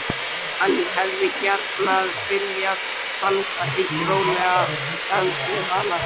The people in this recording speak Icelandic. Hann hefði gjarnan viljað dansa einn rólegan dans við hana.